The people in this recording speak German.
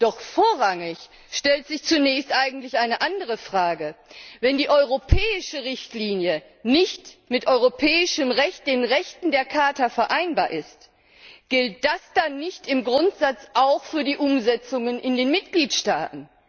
Doch vorrangig stellt sich zunächst eigentlich eine andere Frage Wenn die europäische Richtlinie nicht mit europäischem Recht, den Rechten der Charta vereinbar ist, gilt das dann nicht im Grundsatz auch für die Umsetzungen in den Mitgliedstaaten?